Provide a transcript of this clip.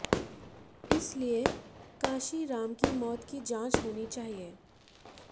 इस लिए कांशीराम की मौत की जांच होनी चाहिए